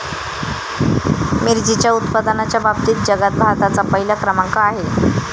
मिरचीच्या उत्पादनाच्या बाबतीत जगात भारताचा पहिला क्रमांक आहे.